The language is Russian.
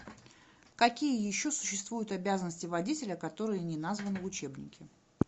какие еще существуют обязанности водителя которые не названы в учебнике